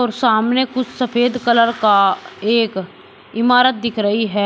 और सामने कुछ सफेद कलर का एक इमारत दिख रही है।